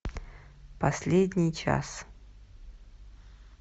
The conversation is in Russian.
последний час